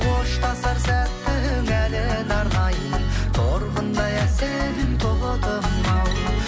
қоштасар сәттің әніне арнаймын торғындай әсем тотым ау